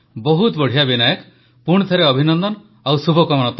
ବହୁତ ବଢ଼ିଆ ବିନାୟକ ପୁଣିଥରେ ଅଭିନନ୍ଦନ ଆଉ ଶୁଭକାମନା